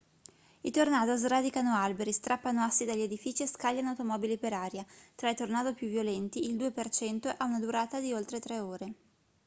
i tornado sradicano alberi strappano assi dagli edifici e scagliano automobili per aria tra i tornado più violenti il 2% ha una durata di oltre tre ore